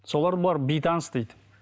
соларды бұлар бейтаныс дейді